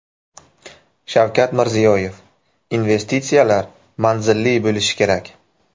Shavkat Mirziyoyev: Investitsiyalar manzilli bo‘lishi kerak.